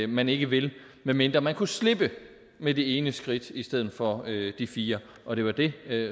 man ikke vil medmindre man kunne slippe med det ene skridt i stedet for de fire og det var det